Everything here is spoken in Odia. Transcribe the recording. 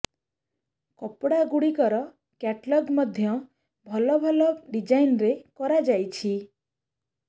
କପଡ଼ା ଗୁଡ଼ିକର କ୍ୟାଟଲଗ୍ ମଧ୍ୟ ଭଲ ଭଲ ଡିଜାଇନରେ କରାଯାଇଛି